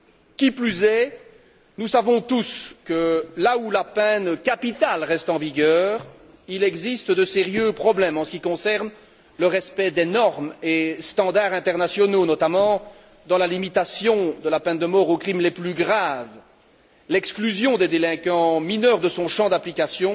Qui plus est, nous savons tous que, là où la peine capitale reste en vigueur, il existe de sérieux problèmes en ce qui concerne le respect des normes et standards internationaux, notamment dans la limitation de la peine de mort aux crimes les plus graves, l'exclusion des délinquants mineurs de son champ d'application